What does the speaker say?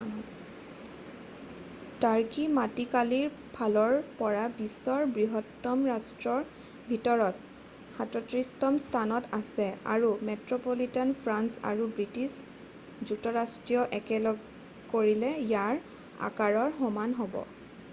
তুৰ্কী মাটিকালি ফালৰ পৰা বিশ্বৰ বৃহত্তম ৰাষ্ট্ৰৰ ভিতৰত 37তম স্থানত আছে আৰু মেট্ৰ'পলিটান ফ্ৰান্স আৰু বৃষ্টিছ যুক্তৰাষ্ট্ৰ একেলগ কৰিলে ইয়াৰ আকাৰৰ সমান হ'ব